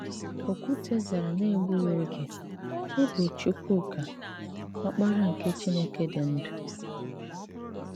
Òkwùté zàrà n’egbùghị ogè: “Ị bụ̀ Chúkwùká, Ọ́kpárá nke Chìnèké dị́ ndú.